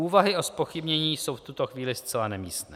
Úvahy o zpochybnění jsou v tuto chvíli zcela nemístné.